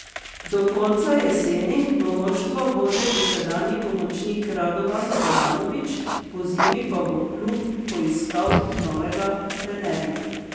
Do konca jeseni bo moštvo vodil dosedanji pomočnik Radovan Karanović, pozimi pa bo klub poiskal novega trenerja.